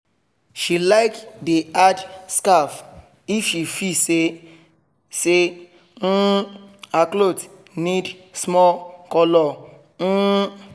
she like dey add scarf if she feel say say um her cloth need small colour um